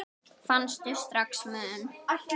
Fannstu strax mun?